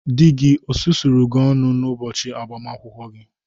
Di gi osusuru gi ọnụ n'ubochi agbamakwụkwọ gi?